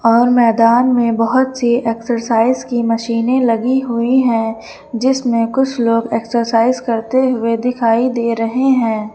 और मैदान में बहुत सी एक्सरसाइज की मशीनें लगी हुई है जिसमें कुछ लोग एक्सरसाइज करते हुए दिखाई दे रहे हैं।